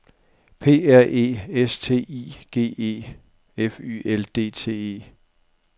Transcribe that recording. P R E S T I G E F Y L D T E